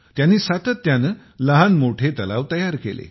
त्यांनी सातत्याने लहानमोठे तलाव तयार केले